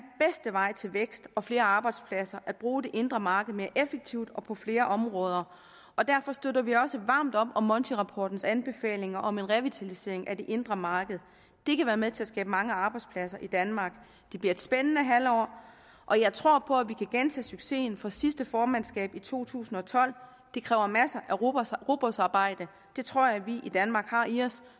vej til vækst og flere arbejdspladser at bruge det indre marked mere effektivt og på flere områder og derfor støtter vi også varmt op om montirapportens anbefalinger om en revitalisering af det indre marked det kan være med til at skabe mange arbejdspladser i danmark det bliver et spændende halvår og jeg tror på at vi kan gentage succesen fra sidste formandskab i to tusind og tolv det kræver masser af rugbrødsarbejde det tror jeg vi i danmark har i os